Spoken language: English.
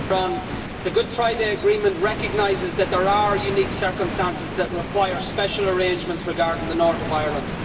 Madam President, the Good Friday Agreement recognises that there are unique circumstances that require special arrangements regarding the North of Ireland.